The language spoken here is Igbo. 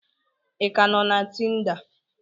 Ị ka nọ na Tinda?